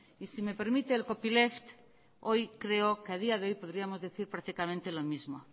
y si me permite el copyleft hoy creo que a día de hoy podríamos decir perfectamente lo mismo